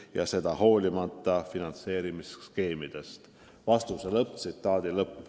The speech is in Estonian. Ja seda hoolimata finantseerimisskeemidest.".